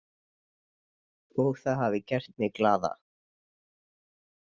Og það hafi gert mig glaða.